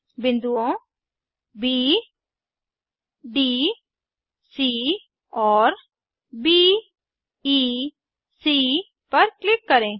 बिन्दुओं B D C और B E C पर किलक करें